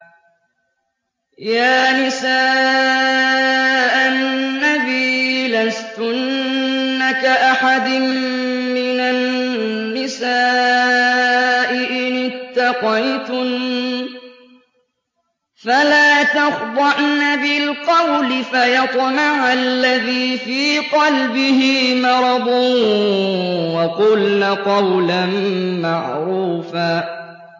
يَا نِسَاءَ النَّبِيِّ لَسْتُنَّ كَأَحَدٍ مِّنَ النِّسَاءِ ۚ إِنِ اتَّقَيْتُنَّ فَلَا تَخْضَعْنَ بِالْقَوْلِ فَيَطْمَعَ الَّذِي فِي قَلْبِهِ مَرَضٌ وَقُلْنَ قَوْلًا مَّعْرُوفًا